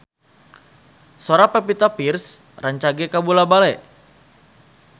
Sora Pevita Pearce rancage kabula-bale